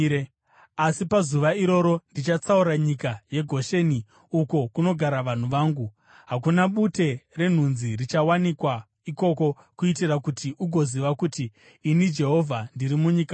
“ ‘Asi pazuva iroro ndichatsaura nyika yeGosheni uko kunogara vanhu vangu; hakuna bute renhunzi richawanikwa ikoko kuitira kuti ugoziva kuti ini, Jehovha, ndiri munyika muno.